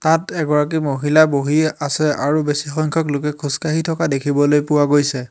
তাত এগৰাকী মহিলা বহি আছে আৰু বেছি সংখ্যক লোকে খোজ কাঢ়ি থকা দেখিবলৈ পোৱা গৈছে।